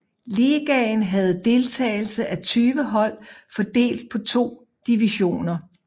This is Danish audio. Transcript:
Ligaen havde deltagelse af 20 hold fordelt på to divisioner